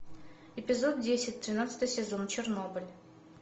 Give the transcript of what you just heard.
эпизод десять тринадцатый сезон чернобыль